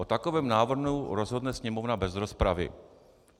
O takovém návrhu rozhodne Sněmovna bez rozpravy.